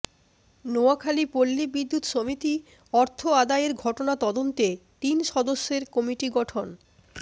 নোয়াখালী পল্লী বিদ্যুৎ সমিতি অর্থ আদায়ের ঘটনা তদন্তে তিন সদস্যের কমিটি গঠন